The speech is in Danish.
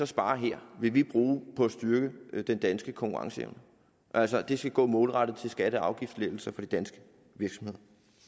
sparer her vil vi bruge på at styrke den danske konkurrenceevne altså at det skal gå målrettet til skatte og afgiftslettelser for de danske virksomheder